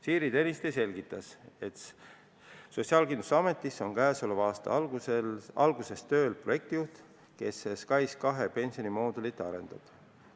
Siiri Tõniste selgitas, et Sotsiaalkindlustusametis on käesoleva aasta algusest tööl projektijuht, kes SKAIS2 pensionimoodulit arendab.